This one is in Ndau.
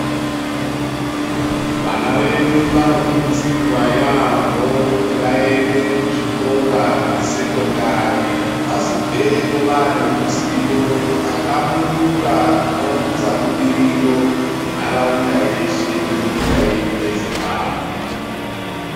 Vana vedu vanokurudzirwa yaampho kuti vaende kuzvikora zvesekondari. Vazobveyo vaane ruzivo rwakahlamburuka hunounza budiriro muntharaunda yeshe nemunyika yedu yeZimbabwe.